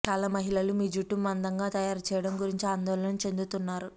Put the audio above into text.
చాలా మహిళలు మీ జుట్టు మందంగా తయారు చేయడం గురించి ఆందోళన చెందుతున్నారు